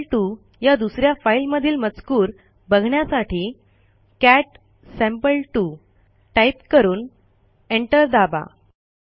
sample two या दुस या फाईलमधील मजकूर बघण्यासाठी कॅट सॅम्पल2 टाईप करून एंटर दाबा